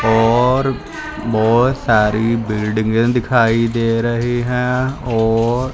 और बहोत सारी बिल्डिंगे दिखाई दे रही हैं और--